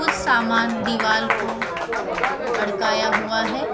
कुछ सामान दीवाल को अड्काया हुआ है।